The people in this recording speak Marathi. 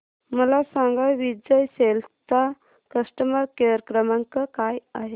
मला सांगा विजय सेल्स चा कस्टमर केअर क्रमांक काय आहे